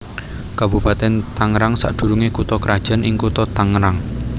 Kabupatèn Tangerang sadurungé kutha krajan ing Kutha Tangerang